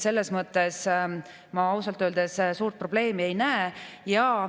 Selles mõttes ma ausalt öeldes suurt probleemi ei näe.